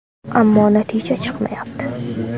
Ammo natija chiqmayapti.